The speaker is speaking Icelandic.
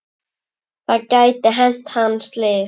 Það gæti hent hann slys.